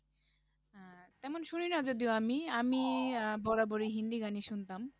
তেমন শুনি না যদিও আমি, আমি আহ বরাবর ই হিন্দি গান ই শুনতাম,